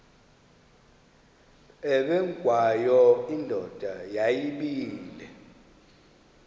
ubengwayo indoda yayibile